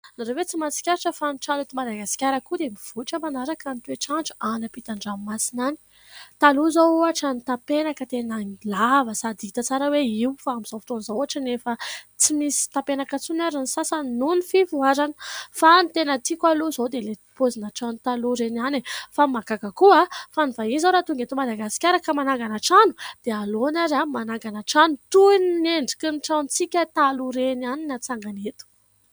Ianareo ve tsy mahatsikaritra fa ny trano eto Madagasikara koa dia mivoatra manaraka ny toetr'andro any ampitan-dranomasina any. Taloha izao ohatra ny tampenaka tena lava sady hita tsara hoe io. Fa amin'izao fotoana izao, ohatra nefa, tsy misy tampenaka atsony ary ny sasany noho ny fivoarana. Fa ny tena tiako aloha izao dia ilay paozina trano taloha ireny ihany. Fa ny mahagaga koa, fa ny vahiny izao raha tonga eto Madagasikara ka manangana trano, dia aleony ary manangana trano toy ny endriky ny tranontsika taloha ireny ihany no hatsangany eto.